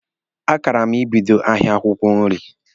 A kara m ibido ahịa akwụkwọ nri.